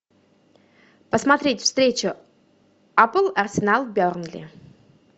посмотреть встречу апл арсенал бернли